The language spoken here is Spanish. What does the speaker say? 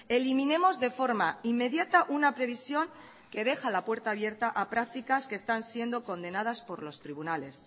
eliminemos de forma inmediata una previsión que deja la puerta abierta a prácticas que están siendo condenadas por los tribunales